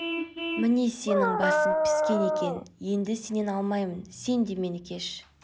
міне сенің басың піскен екен еңді сенен алмаймын сен де мені кеш